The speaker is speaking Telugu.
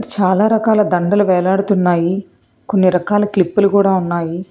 చాలా రకాల దండలు వేలాడుతున్నాయి కొన్ని రకాల క్లిప్పులు కూడా ఉన్నాయి.